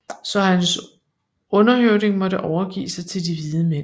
Så hans underhøvding måtte overgive sig til de hvide mænd